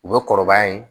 U bɛ kɔrɔbaya yen